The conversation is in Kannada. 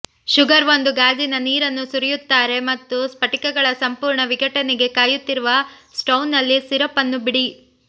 ಶುಗರ್ ಒಂದು ಗಾಜಿನ ನೀರನ್ನು ಸುರಿಯುತ್ತಾರೆ ಮತ್ತು ಸ್ಫಟಿಕಗಳ ಸಂಪೂರ್ಣ ವಿಘಟನೆಗೆ ಕಾಯುತ್ತಿರುವ ಸ್ಟೌವ್ನಲ್ಲಿ ಸಿರಪ್ ಅನ್ನು ಬಿಡಿ